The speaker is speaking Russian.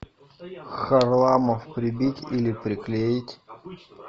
харламов прибить или приклеить